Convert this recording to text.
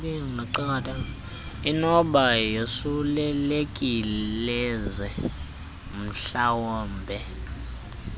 inokuba yosulelekileze umhlambe